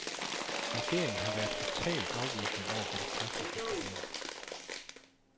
Regeringen har været totalt afvisende over for de praktiske problemer.